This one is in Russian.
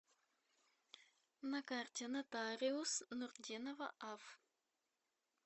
на карте нотариус нуртдинова аф